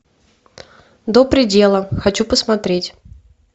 до предела хочу посмотреть